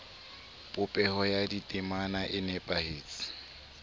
popeho ya ditemana e nepahetse